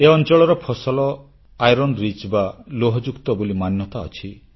ଏ ଅଂଚଳର ଫସଲ iron rich ବା ଲୌହସାରଯୁକ୍ତ ବୋଲି ମାନ୍ୟତା ଅଛି